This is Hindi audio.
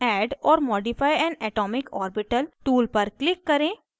add or modify an atomic orbital tool पर click करें